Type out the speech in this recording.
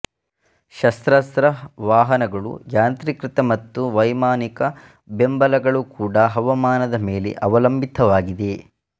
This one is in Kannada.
ಶಸ್ತ್ರಾಸ್ತ್ರ ವಾಹನಗಳುಯಾಂತ್ರೀಕೃತ ಮತ್ತು ವೈಮಾನಿಕ ಬೆಂಬಲಗಳು ಕೂಡ ಹವಾಮಾನದ ಮೇಲೆ ಅವಲಂಬಿತವಾಗಿದೆ